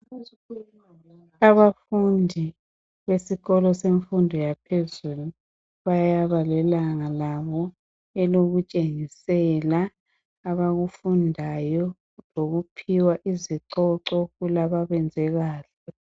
Abafundi besikolo semfundo yaphezulu bayaba lelanga labo elokutshengisela abakufundayo lokuphiwa izicoco kulababenze kahle.